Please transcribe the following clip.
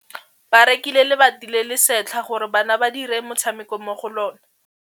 Ba rekile lebati le le setlha gore bana ba dire motshameko mo go lona.